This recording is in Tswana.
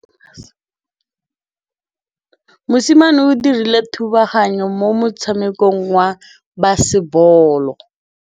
Mosimane o dirile thubaganyô mo motshamekong wa basebôlô.